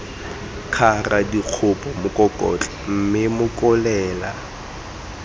kgara dikgopo mokokotlo mme mokolela